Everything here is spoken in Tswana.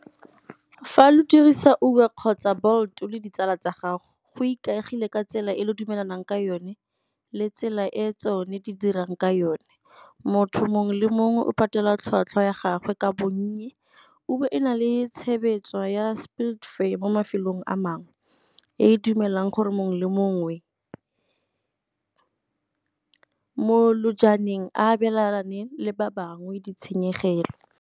Fa lo dirisa Uber kgotsa Bolt le ditsala tsa gago, go ikaegile ka tsela e le dumelanang ka yone le tsela e tsone di dirang ka yone. Motho mongwe le mongwe o patela tlhotlhwa ya gagwe ka bonnye. Uber e na le ya mo mafelong a mangwe e e dumelang gore mongwe le mongwe mo a abelane le ba bangwe di tshenyegelo.